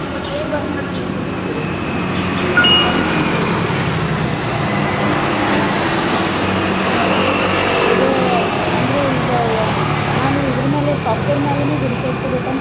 ಅಂದ್ರ್ ಅಂದ್ರ್ ಈಗ ನಾನು ಇದರ್ಮ್ಯಾಲ್ software ಮ್ಯಾಲೇನ ಹುಡಿಕ್ಯಾಡ್ಕೋಬೇಕಂತ